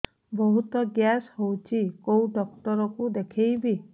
ବହୁତ ଗ୍ୟାସ ହଉଛି କୋଉ ଡକ୍ଟର କୁ ଦେଖେଇବି